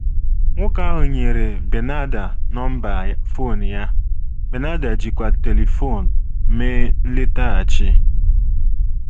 Nwoke ahụ nyere Bernarda nọmba fon ya, Bernarda jikwa telifon mee nletaghachi.